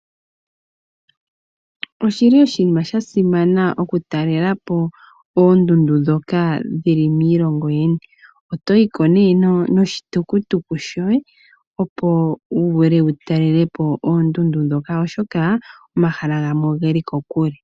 Oshili oshinima sha simana okutalela po oondundu dhoka dhili miilongo yilwe . Otoyi ko noshitukutuku shoye , opo wu vule wu talele po oondundu dhoka oshoka omahala gamwe oge li kokule.